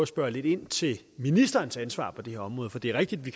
spørge lidt ind til ministerens ansvar på det her område for det er rigtigt at vi